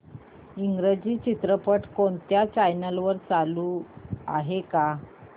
इंग्रजी चित्रपट कोणत्या चॅनल वर चालू आहे का